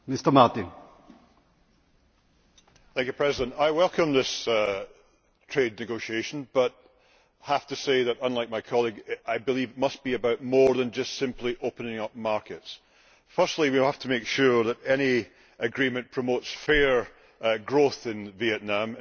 Mr President, I welcome this trade negotiation, but have to say that, unlike my colleague, I believe it must be about more than just simply opening up markets. Firstly, we have to make sure that any agreement promotes fair growth in Vietnam.